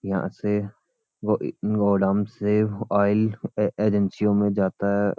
यहाँ से व-अ-इ-गोडाउन से ऑइल ए-एजेंसीयों मे जाता है।